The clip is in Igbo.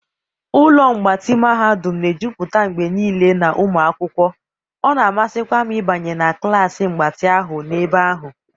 ụlọ mgbatị mahadum na-ejupụta mgbe niile na ụmụ akwụkwọ, ọ na-amasịkwa m ịbanye na klas mgbatị ahụ n'ebe ahụ.